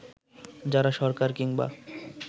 যারা সরকার কিংবা